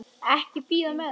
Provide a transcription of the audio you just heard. Ekki bíða með það.